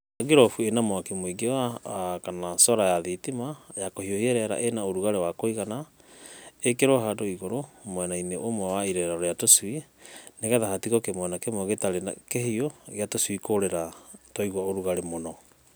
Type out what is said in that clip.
Etha ngirobu ĩna mwaki mũingĩ kana cora ya thitima ya kũhiũhia rĩera ĩ na ũrugarĩ wa kũigana, ĩkĩrwo handũ igũrũ mwena -inĩ ũmwe wa irerero rĩa tũcui, nĩgetha hatigo kĩmwena kĩmwe gĩtarĩ kĩhiũ gĩa tũcui kũũrĩra twaigua ũrugarĩ mũno.